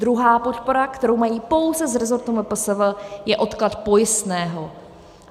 Druhá podpora, kterou mají pouze z rezortu MPSV, je odklad pojistného.